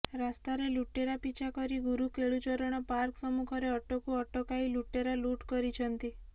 ରାସ୍ତାରେ ଲୁଟେରା ପିଛା କରି ଗୁରୁ କେଳୁଚରଣ ପାର୍କ ସମ୍ମୁଖରେ ଅଟୋକୁ ଅଟକାଇ ଲୁଟେରା ଲୁଟ କରିଛନ୍ତି